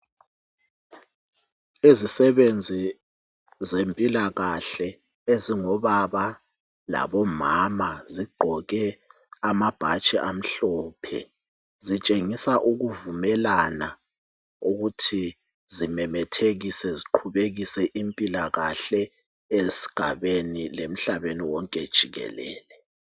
Izisebenzi zempilakahle ezingobaba labomama zigqoke amabhatshi amhlophe , zitshengisa ukuvumelana zimemethekise ziqhubekise impilakahle esigabeni lemhlabeni wonke jikelele